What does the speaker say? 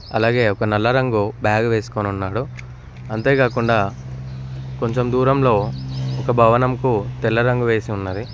అలాగే ఒక నల్ల రంగు బ్యాగు వేసుకోనున్నాడు అంతే కాకుండా కొంచెం దూరంలో ఒక భవనంకు తెల్ల రంగు వేసి ఉన్నది.